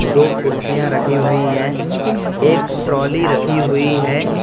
दो कुर्सियां रखी हुई हैं एक ट्रोली रखी हुई है।